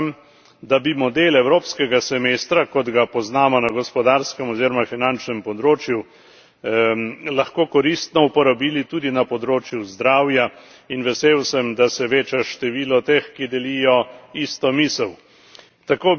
Prepričan sem, da bi model evropskega semestra, kot ga poznamo na gospodarskem oziroma finančnem področju, lahko koristno uporabili tudi na področju zdravja, in vesel sem, da se veča število teh, ki delijo isto misel.